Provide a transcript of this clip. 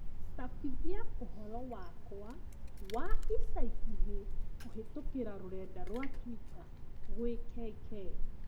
cabithia ũhoro wakwa wa ica ikuhi kũhĩtũkĩra rũrenda rũa tũita gwĩ KK